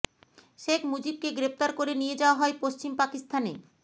শেখ মুজিবকে গ্রেপ্তার করে নিয়ে যাওয়া হয় পশ্চিম পাকিস্তানে